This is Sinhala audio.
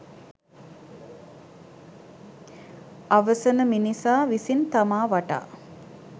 අවසන මිනිසා විසින් තමා වටා